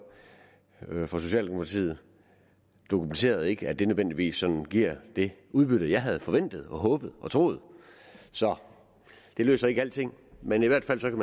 fra socialdemokratiet dokumenterede ikke at det nødvendigvis sådan giver det udbytte jeg havde forventet og håbet og troet så det løser ikke alting men i hvert fald kan